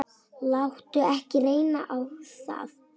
Láttu ekki reyna á það.